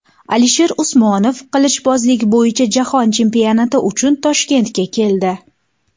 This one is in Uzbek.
Alisher Usmonov qilichbozlik bo‘yicha jahon chempionati uchun Toshkentga keldi.